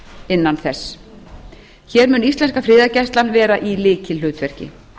innan þess hér mun íslenska friðargæslan vera í lykilhlutverki